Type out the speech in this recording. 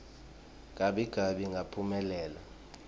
gabi gabi ngaphumelela